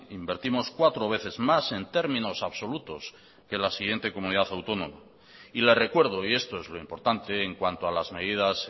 invertimos cuatro veces más en términos absolutos que la siguiente comunidad autónoma y le recuerdo y esto es lo importante en cuanto a las medidas